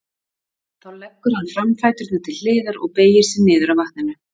Þá leggur hann framfæturna til hliðar og beygir sig niður að vatninu.